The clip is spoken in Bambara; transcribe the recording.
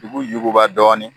Dugu yuguba dɔɔni.